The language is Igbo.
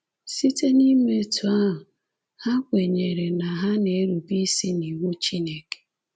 Site n’ime etu ahụ, ha kwenyere na ha na-erube isi n’iwu Chineke.”